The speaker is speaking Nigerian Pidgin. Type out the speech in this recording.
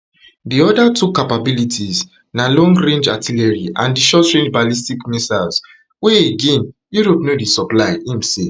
di oda two capabilities na longrange artillery and di shortrange ballistic missiles wey again europe no dey supply im say